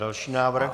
Další návrh.